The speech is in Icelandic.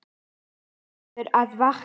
Þú verður að vakna.